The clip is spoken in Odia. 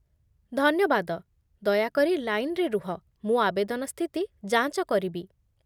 ଧନ୍ୟବାଦ, ଦୟାକରି ଲାଇନ୍‌ରେ ରୁହ, ମୁଁ ଆବେଦନ ସ୍ଥିତି ଯାଞ୍ଚ କରିବି।